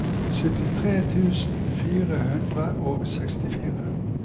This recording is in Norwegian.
syttitre tusen fire hundre og sekstifire